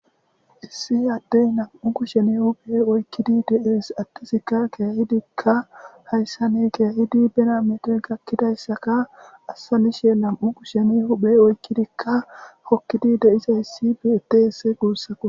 Issi ade nam'u kushiyan huphe oyiqidi de'es adezika kehidika hayssan kehidika birra metoy gakizayisaka azanishe nam'u kushen huphe oyqidika hokizi de'izayisi bettes gussako.